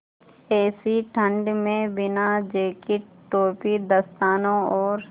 ऐसी ठण्ड में बिना जेकेट टोपी दस्तानों और